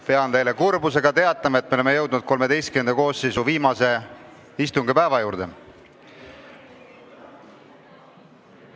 Pean teile kurbusega teatama, et me oleme jõudnud XIII koosseisu viimase istungipäeva juurde.